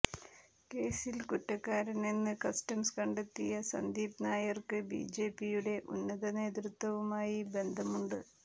കേസിൽ കുറ്റക്കാരനെന്ന് കസ്റ്റംസ് കണ്ടെത്തിയ സന്ദീപ് നായർക്ക് ബിജെപിയുടെ ഉന്നത നേതൃത്വവുമായി ബന്ധമുണ്ട്